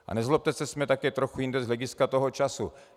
A nezlobte se, jsme také trochu jinde z hlediska toho času.